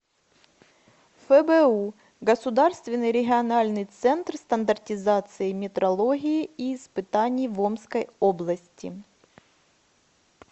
фбу государственный региональный центр стандартизации метрологии и испытаний в омской области